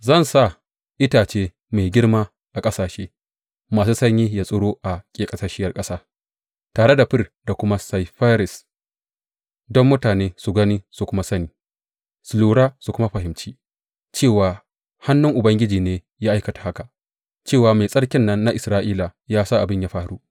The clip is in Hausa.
Zan sa itace mai girma a ƙasashe masu sanyi ya tsiro a ƙeƙasasshiyar ƙasa, tare da fir da kuma saifires, don mutane su gani su kuma sani, su lura su kuma fahimci, cewa hannun Ubangiji ne ya aikata haka, cewa Mai Tsarkin nan na Isra’ila ya sa abin ya faru.